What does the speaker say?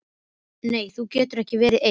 Nei þú getur ekki verið ein.